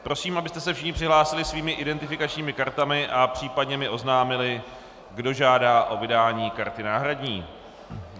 Prosím, abyste se všichni přihlásili svými identifikačními kartami a případně mi oznámili, kdo žádá o vydání karty náhradní.